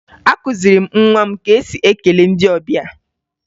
Akụziri m nwa m ka e si ekele ndị ọbịa